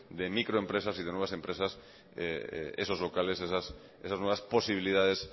de microempresas y de nuevas empresas esos locales esas nuevas posibilidades